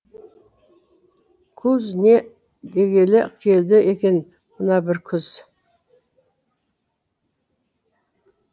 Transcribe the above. куз не дегелі келді екен мына бір күз